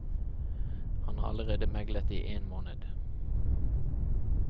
Han har allerede meglet i én måned.